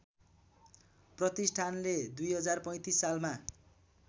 प्रतिष्ठानले २०३५ सालमा